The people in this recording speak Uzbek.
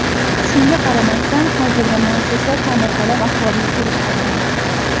Shunga qaramasdan, hozirda muassasa ta’mirtalab ahvolga kelib qolgan .